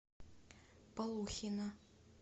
полухина